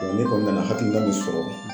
ne kɔni nana hakilina min sɔrɔ